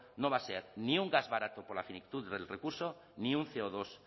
no va a ser ni un gas barato por la finitud del recurso ni un ce o dos